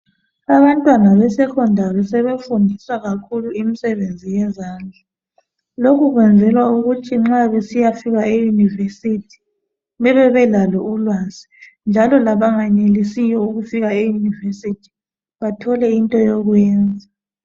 Abantwana be Secondary sebefundiswa kakhulu imisebenzi yezandla lokhu kwenzelwa ukuthi nxa kusiyafika e university bebebelalo ulwazi njalo labangenelisiyo ukufika e university bathole into yokwenza